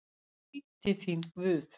Gæti þín Guð.